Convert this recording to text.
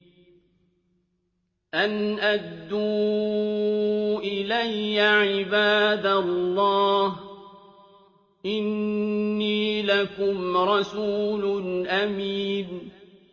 أَنْ أَدُّوا إِلَيَّ عِبَادَ اللَّهِ ۖ إِنِّي لَكُمْ رَسُولٌ أَمِينٌ